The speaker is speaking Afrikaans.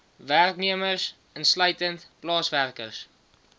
werknemers insluitend plaaswerkers